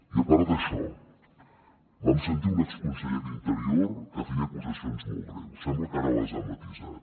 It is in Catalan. i a part d’això vam sentir un exconseller d’interior que feia acusacions molt greus sembla que ara les ha matisat